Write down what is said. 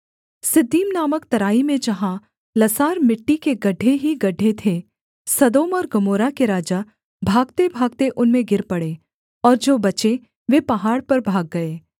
Siddim नामक तराई में जहाँ लसार मिट्टी के गड्ढे ही गड्ढे थे सदोम और गमोरा के राजा भागतेभागते उनमें गिर पड़े और जो बचे वे पहाड़ पर भाग गए